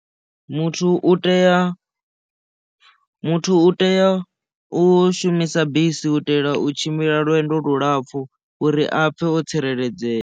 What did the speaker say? Muthu u tea muthu u tea u shumisa bisi u itela u tshimbila lwendo lulapfu uri a pfhe o tsireledzea.